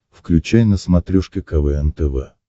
включай на смотрешке квн тв